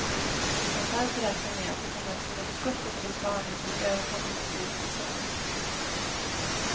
Vi kan därför räkna med att det kommer att finnas gott om tulpaner till överkomligt pris säsongen ut.